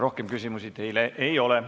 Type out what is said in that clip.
Rohkem küsimusi teile ei ole.